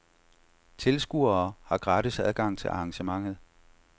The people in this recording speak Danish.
Tilskuere har gratis adgang til arrangementet.